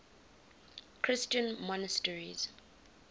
christian monasteries